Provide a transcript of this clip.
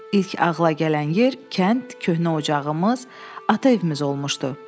İlk ağla gələn yer kənd, köhnə ocağımız, ata evimiz olmuşdu.